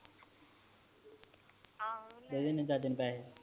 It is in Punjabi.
ਦੇ ਦੇਣੇ ਆ ਚਾਚੇ ਨੂੰ ਪੈਸੇ